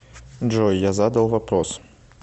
джой я задал вопрос